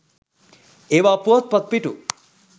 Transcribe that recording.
ඒවා පුවත්පත් පිටු